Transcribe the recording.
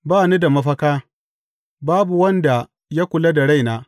Ba ni da mafaka; babu wanda ya kula da raina.